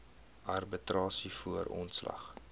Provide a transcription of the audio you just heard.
arbitrasie voor ontslag